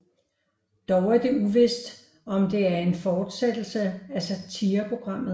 Dog er det uvist om det er en fortsættelse af satireprogrammet